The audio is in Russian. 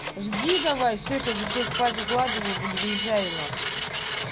жди давай все сейчас детей спать укладываю выезжаю на хуй